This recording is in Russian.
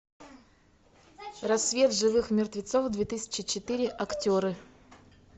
рассвет живых мертвецов две тысячи четыре актеры